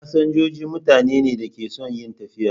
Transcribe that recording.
Fasinjoji mutane ne da ke son yin tafiya.